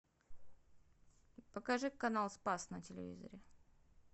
покажи канал спас на телевизоре